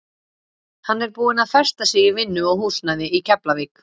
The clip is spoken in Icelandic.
Hann er búinn að festa sig í vinnu og húsnæði í Keflavík.